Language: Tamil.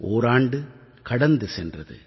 ஓராண்டு கடந்து சென்றது